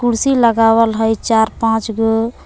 कुर्सी लगावल हइ चार पांच गो।